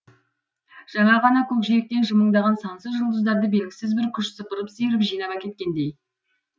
жаңа ғана көкжиектен жымыңдаған сансыз жұлдыздарды белгісіз бір күш сыпырып сиырып жинап әкеткендей